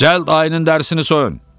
"Cəld ayının dərisini soyun!"